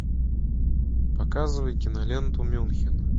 показывай киноленту мюнхен